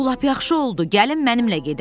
Bu lap yaxşı oldu, gəlin mənimlə gedək.